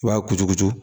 I b'a kuturukutu